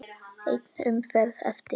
Ein umferð eftir.